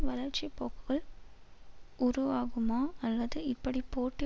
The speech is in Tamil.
வளர்ச்சி போக்குகள் உருவாகுமா அல்லது இப்படி போட்டி